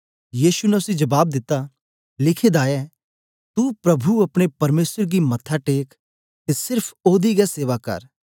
यीशु ने उसी जबाब दिता लिखें दा ऐ तू प्रभु अपने परमेसर गी मत्था टेक ते सेर्फ ओसदी गै सेवा कर